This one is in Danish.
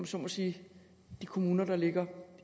så må sige af de kommuner der ligger